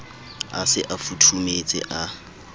a se a futhumetse a